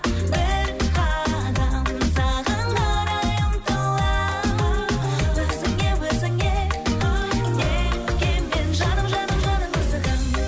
бір қадам саған қарай ұмтыламын өзіңе өзіңе неткен жаным жаным жаным асығамын